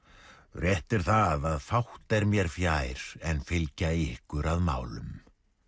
rétt er það að fátt er mér fjær en fylgja ykkur að málum